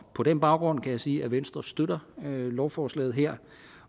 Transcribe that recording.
på den baggrund kan jeg sige at venstre støtter lovforslaget her